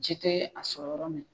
Ji tɛ a sɔrɔ yɔrɔ min